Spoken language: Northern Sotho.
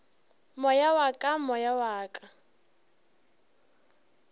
moya wa ka moya wa